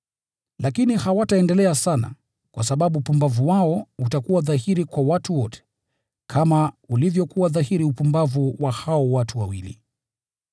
Lakini hawataendelea sana, kwa sababu upumbavu wao utakuwa dhahiri kwa watu wote, kama ulivyokuwa dhahiri upumbavu wa hao watu wawili.